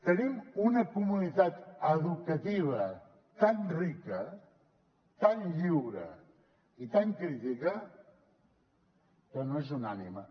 tenim una comunitat educativa tan rica tan lliure i tan crítica que no és unànime